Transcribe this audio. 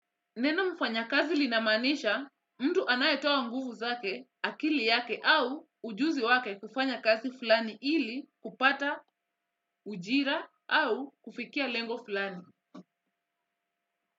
Neno mfanyakazi linamaanisha, mtu anayetoa nguvu zake, akili yake au ujuzi wake kufanya kazi fulani ili kupata, ujira au kufikia lengo fulani.